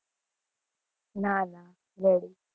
ના ના ready